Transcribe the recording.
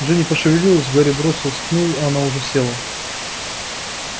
джинни пошевелилась гарри бросился к ней но она уже села